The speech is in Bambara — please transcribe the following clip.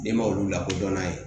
Den ma olu lakodɔn n'a ye